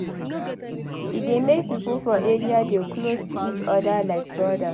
E dey make pipo for area dey close to each other like brodas